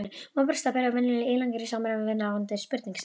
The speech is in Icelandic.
Móbergsstapar eru venjulega ílangir í samræmi við ráðandi sprungustefnu.